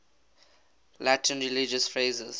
latin religious phrases